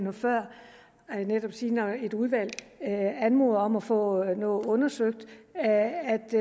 noget før jeg vil netop sige at når et udvalg anmoder om at få noget undersøgt er det